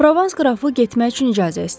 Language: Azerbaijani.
Provans qrafı getmək üçün icazə istədi.